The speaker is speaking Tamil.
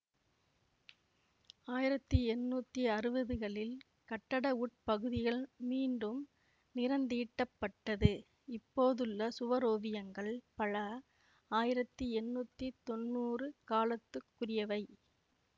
ஆயிரத்தி எண்ணூத்தி அறுவதுகளில் கட்டட உட்பகுதிகள் மீண்டும் நிறந்தீட்டப்பட்டது இப்போதுள்ள சுவரோவியங்கள் பல ஆயிரத்தி எண்ணூத்தி தொன்னூறு காலத்துக்குரியவை